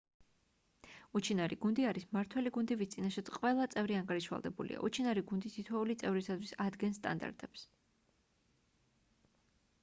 უჩინარი გუნდი არის მმართველი გუნდი ვის წინაშეც ყველა წევრი ანგარიშვალდებულია უჩინარი გუნდი თითოეული წევრისთვის ადგენს სტანდარტებს